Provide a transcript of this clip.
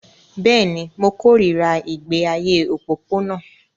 Bẹ́ẹ̀ ni, mo kórìíra ìgbé ayé òpópónà